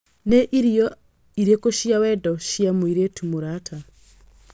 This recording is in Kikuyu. nĩ irio irĩkũ cia wendo cia mũirĩtu mũrata